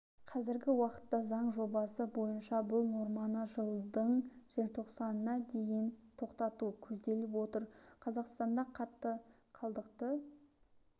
қазіргі уақытта заң жобасы бойынша бұл норманы жылдың желтоқсанына дейін тоқтату көзделіп отыр қазақстанда қатты қалдықты